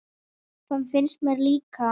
Það finnst mér líka.